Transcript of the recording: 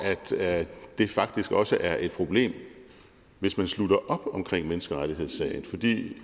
at det faktisk også er et problem hvis man slutter op omkring menneskerettighedssagen fordi